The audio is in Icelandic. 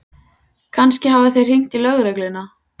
Kannski hafa þeir hringt í lögregluna.